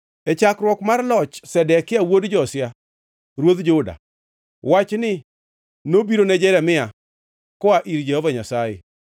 E chakruok mar loch Zedekia wuod Josia ruodh Juda, wachni nobiro ne Jeremia koa ir Jehova Nyasaye: